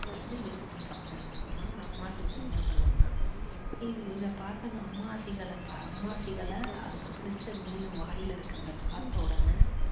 என்ன use பண்றாங்க அப்படின்னா அந்த அம்மா seegal என்ன பண்ணுதுன்னா இது இத பார்த்தானா அம்மா seegal அம்மா seegal யை அதுக்கு பிடிச்ச மீன் வாயில இருக்குறத பார்த்தவுடனே